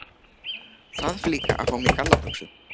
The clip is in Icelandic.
Þarf líka að fá mér gallabuxur.